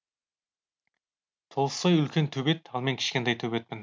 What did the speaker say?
толстой үлкен төбет ал мен кішкентай төбетпін